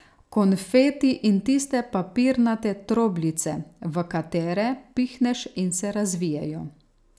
Konfeti in tiste papirnate trobljice, v katere pihneš in se razvijejo.